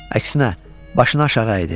Əksinə, başını aşağı əydi.